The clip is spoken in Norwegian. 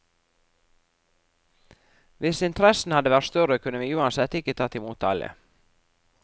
Hvis interessen hadde vært større, kunne vi uansett ikke tatt i mot alle.